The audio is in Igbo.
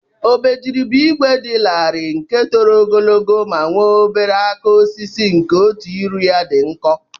Obejiri bu igwe di lari nke toro ogologo ma nwe obere aka osisi nke otu iru ya di nko.